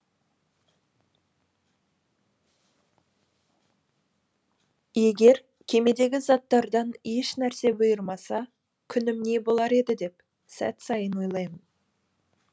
егер кемедегі заттардан ешнәрсе бұйырмаса күнім не болар еді деп сәт сайын ойлаймын